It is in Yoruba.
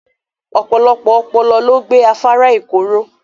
Ọpọ̀lọpọ̀ òpó ló gbẹ̀ Àfárà Èkọ́ ró.